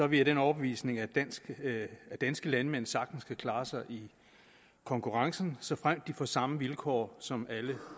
vi af den overbevisning at danske at danske landmænd sagtens kan klare sig i konkurrencen såfremt de får samme vilkår som alle